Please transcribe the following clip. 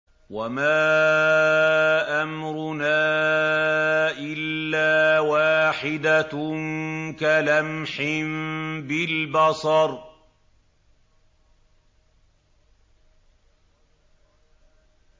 وَمَا أَمْرُنَا إِلَّا وَاحِدَةٌ كَلَمْحٍ بِالْبَصَرِ